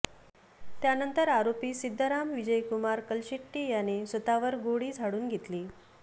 त्यानंतर आरोपी सिद्धाराम विजयकुमार कलशेट्टी याने स्वतः वर गोळी झडून घेतली